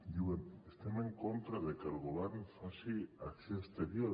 diuen estem en contra de que el govern faci acció exterior